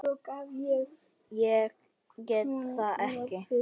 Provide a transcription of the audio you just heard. að ég geti þetta ekki.